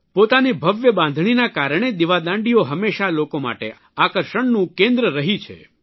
પોતાની ભવ્ય બાંધણીના કારણે દિવાદાંડીઓ હંમેશા લોકો માટે આકર્ષણનું કેન્દ્ર રહી છે